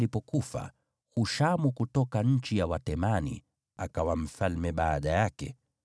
Yobabu alipofariki, Hushamu kutoka nchi ya Watemani akawa mfalme baada yake.